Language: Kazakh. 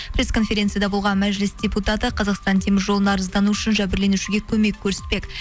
прессконференцияда болған мәжіліс депутаты қазақстан темір жолы нарыздану үшін жәбірленушіге көмек көрсетпек